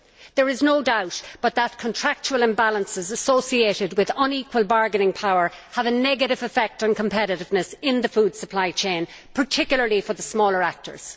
There is no doubt that contractual imbalances associated with unequal bargaining power have a negative effect on competitiveness in the food supply chain, particularly for the smaller actors.